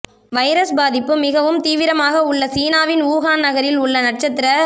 virus பாதிப்பு மிகவும் தீவிரமாக உள்ள சீனாவின் வூஹான் நகரில் உள்ள நட்சத்திர